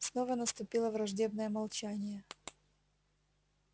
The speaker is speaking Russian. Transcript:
снова наступило враждебное молчание